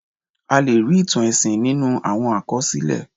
A lè rí ìtàn ẹ̀sìn nínú àwọn àkọsílẹ̀.